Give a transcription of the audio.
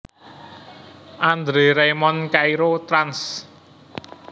André Raymond Cairo trans